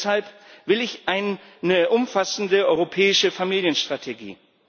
Deshalb will ich eine umfassende europäische Familienstrategie.